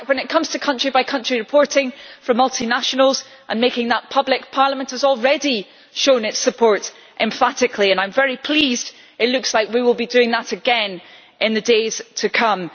In fact, when it comes to country by country reporting for multinationals and making that public, Parliament has already shown its support emphatically and I am very pleased that it looks like we will be doing that again in the days to come.